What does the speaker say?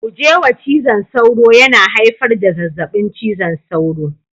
Guje wa cizon sauro, yana haifar da zazzabin cizon sauro